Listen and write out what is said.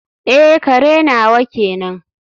eh, kare nawa kenan